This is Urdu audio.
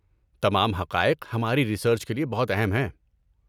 تمام حقائق ہماری ریسرچ کے لیے بہت اہم ہیں۔